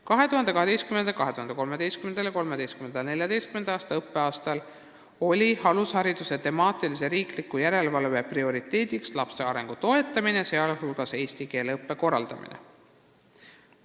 2012/2013. ja 2013/2014. õppeaastal oli alushariduse temaatilise riikliku järelevalve prioriteet lapse arengu toetamine, sh eesti keele õppe korraldamine.